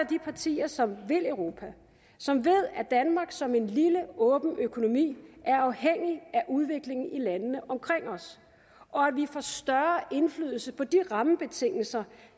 de partier som vil europa som ved at danmark som en lille åben økonomi er afhængig af udviklingen i landene omkring os og at vi får større indflydelse på de rammebetingelser